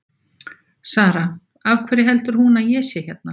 Sara: Af hverju heldur hún að ég sé hérna?